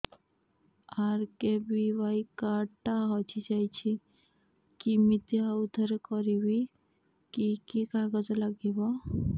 RKBY card ଟା ହଜିଯାଇଛି କିମିତି ଆଉଥରେ କରିବି କି କି କାଗଜ ଲାଗିବ